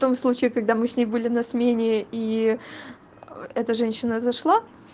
том случае когда мы с ней были на смене и эта женщина зашла